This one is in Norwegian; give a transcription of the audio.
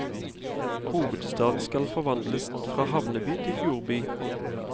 Hovedstaden skal forvandles fra havneby til fjordby.